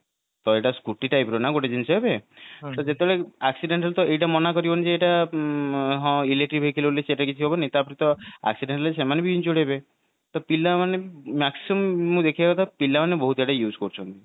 ତ ଏଇଟା ଗୋଟେ scooty type ର ନା ଗୋଟେ ଜିନିଷ ଏବେ ତ ଯେତେବେଳେ accident ହେଲେ ତ ଏଇଟା ମନା କରିବନି ଯେ ଏଇଟା ହଁ electric vehicle ବୋଲି ସେଟା କିଛି ହବନି ତାପରେ ତ accident ହେଲେ ସେମାନେ ବି injured ହେବେ ତ ପିଲାମାନେ maximum ମୁଁ ଦେଖିବା କଥା ପିଲାମାନେ ବହୁତ ଏଟା use କରୁଛନ୍ତି